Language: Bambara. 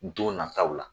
Don nataw la